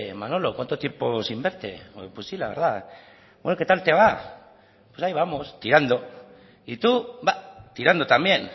manolo cuánto tiempo sin verte pues si la verdad bueno qué tal te va pues ahí vamos tirando y tú va tirando también